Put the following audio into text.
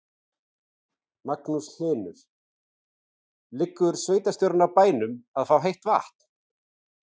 Magnús Hlynur: Liggur sveitarstjórinn á bænum að fá heitt vatn?